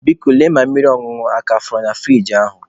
Biko, lee ma mmiri ọṅụṅụ a ka fọrọ na furiji ahụ